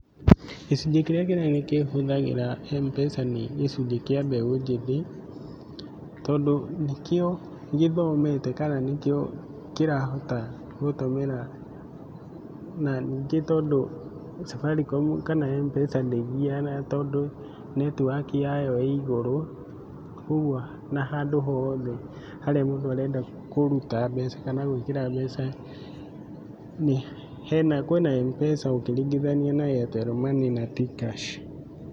Gĩcunjĩ kĩrĩa kĩnene kĩhũthagĩra M-Pesa nĩ gĩcunjĩ kĩa mbeũ njĩthĩ, tondũ nikĩo gĩthomete kana nĩkĩo kĩrahota gũtũmĩra. Na ningĩ tondũ Safaricom kana M-Pesa ndĩgiaga tondũ netiwaki ya yo ĩigũrũ, kwoguo na handũ hothe harĩa mũndũ arenda kũruta mbeca kana gwĩkira mbeca, kwĩna M-Pesa ũngĩringithania na Airtel money na T-kash.